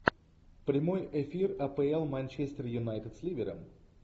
прямой эфир апл манчестер юнайтед с ливером